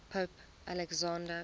pope alexander